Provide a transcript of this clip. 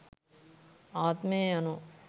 ආත්මය යනු